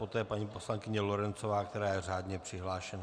Poté paní poslankyně Lorencová, která je řádně přihlášena.